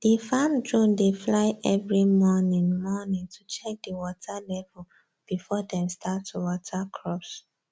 the farm drone dey fly every morning morning to check the water level before dem start to water crops